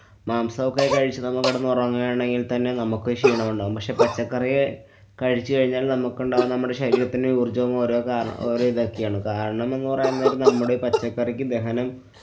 മാംസൊക്കെകഴിച്ച് നമ്മള്‍ കിടന്നുറങ്ങുകയാണെങ്കില്‍ തന്നെ നമ്മക്ക് ക്ഷീണം ഉണ്ടാകും. പക്ഷെ പച്ചക്കറി കഴിച്ചുകഴിഞ്ഞാല്‍ നമ്മക്കുണ്ടാവുന്ന നമ്മടെ ശരീരത്തിന്‍ടെ ഊര്‍ജ്ജവും ഓരോ കാര~ഓരോ ഇതൊക്കെയാണ്. കാരണം എന്ന് പറയാന്‍ നേരം നമ്മുടെ പച്ചക്കറിക്ക് ദഹനം